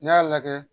N'i y'a lajɛ